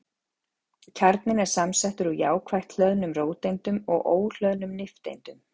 Kjarninn er samsettur úr jákvætt hlöðnum róteindum og óhlöðnum nifteindum.